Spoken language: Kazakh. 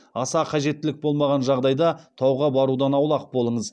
аса қажеттілік болмаған жағдайда тауға барудан аулақ болыңыз